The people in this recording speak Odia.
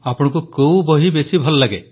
ପ୍ରଧାନମନ୍ତ୍ରୀ ଆପଣଙ୍କୁ କେଉଁ ବହି ବେଶୀ ଭଲ ଲାଗେ